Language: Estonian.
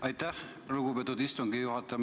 Aitäh, lugupeetud istungi juhataja!